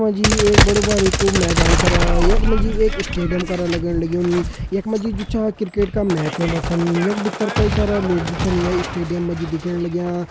यख मा जी एक बड़ी बारिकू मैदान करा यख मा जी एक स्टेडियम करा लगण लग्युं यख मा जू छ क्रिकेट का मैच होंदा छन यख भीतर कई सारा लोग छन ये स्टेडियम मा जी दिखेण लग्यां।